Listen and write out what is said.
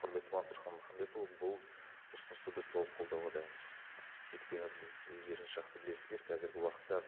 құрметті мансұрхан мұхамбетұлы бұл ұсынысты біз толық қолдауға дайынбыз өйткені біз өздеріңіз жақсы білесіздер қазіргі уақытта